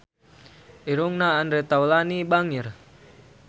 Irungna Andre Taulany bangir